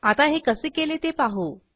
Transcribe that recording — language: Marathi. आता हे कसे केले ते पाहू